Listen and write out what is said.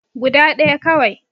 Guda ɗaya kawai